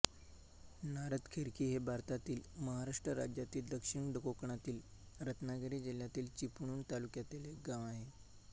नारदखेरकी हे भारतातील महाराष्ट्र राज्यातील दक्षिण कोकणातील रत्नागिरी जिल्ह्यातील चिपळूण तालुक्यातील एक गाव आहे